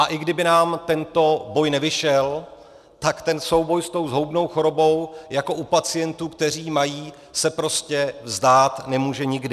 A i kdyby nám tento boj nevyšel, tak ten souboj s tou zhoubnou chorobou jako u pacientů, kteří ji mají, se prostě vzdát nemůže nikdy.